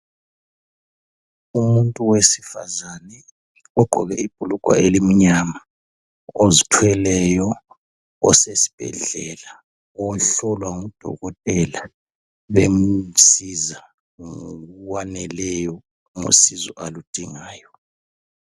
Umuntu wesifazana ugqoke ibhulugwe elimnyama, ozithweleyo, osesibhedlela. Ohlolwa ngudokotela bemsiza ngokwaneleyo ngosizo aludingayo.